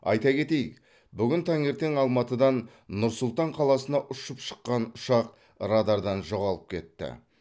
айта кетейік бүгін таңертең алматыдан нұр сұлтан қаласына ұшып шыққан ұшақ радардан жоғалып кетті